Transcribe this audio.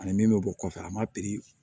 Ani min bɛ bɔ kɔfɛ a ma piri